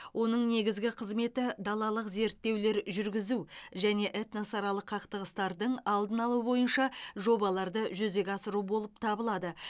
оның негізгі қызметі далалық зерттеулер жүргізу және этносаралық қақтығыстардың алдын алу бойынша жобаларды жүзеге асыру болып табылады